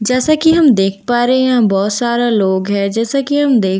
जैसा की हम देख पा रहे हैं यहाँ बहुत सारा लोग हैं जैसा की हम देख पा --